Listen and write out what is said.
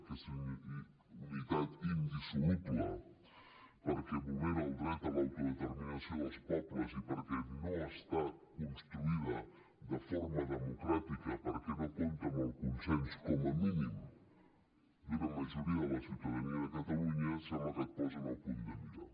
aquesta unitat indissoluble perquè vulnera el dret a l’autodeterminació dels pobles i perquè no ha estat construïda de forma democràtica perquè no compta amb el consens com a mínim d’una majoria de la ciutadania de catalunya sembla que et posen al punt de mira